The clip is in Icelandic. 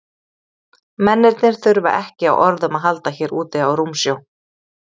Mennirnir þurfa ekki á orðum að halda hér úti á rúmsjó.